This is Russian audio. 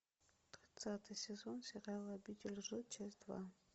двадцатый сезон сериала обитель лжи часть два